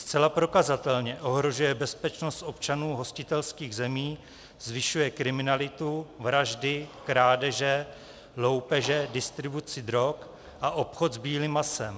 Zcela prokazatelně ohrožuje bezpečnost občanů hostitelských zemí, zvyšuje kriminalitu, vraždy, krádeže, loupeže, distribuci drog a obchod s bílým masem.